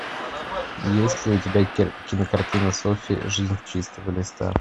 есть ли у тебя кинокартина софи жизнь с чистого листа